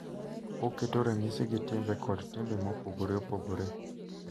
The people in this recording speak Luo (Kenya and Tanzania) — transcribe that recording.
Oketo ranyisi gi timbe kod timbe mopogore opogore